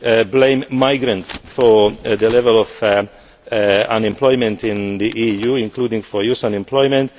some blame migrants for the level of unemployment in the EU, including for youth unemployment.